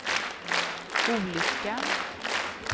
olyckan